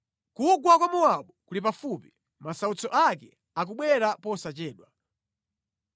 Kugwa kwa Mowabu kuli pafupi; masautso ake akubwera posachedwa.